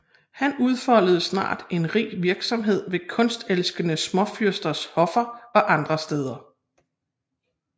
Han udfoldede snart en rig virksomhed ved kunstelskende småfyrsters hoffer og andre steder